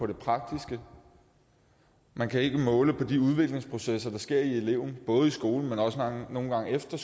det praktiske man kan ikke måle på de udviklingsprocesser der sker i eleven både i skolen men også nogle gange efter